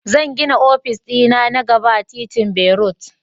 Zan gina ofis dina na gaba a titin berut